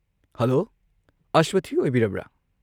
Hello, ꯑꯁ꯭ꯋꯊꯤ ꯑꯣꯏꯕꯤꯔꯕ꯭ꯔꯥ?